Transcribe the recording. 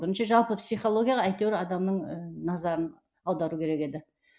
бірінші жалпы психологияға әйтеуір адамның ыыы назарын аудару керек еді